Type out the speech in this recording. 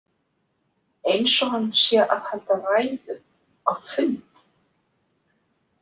Eins og hann sé að halda ræðu á fundi.